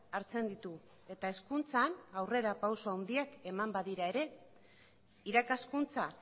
hartzen ditu eta hezkuntzan aurrerapauso handiak eman badira ere irakaskuntza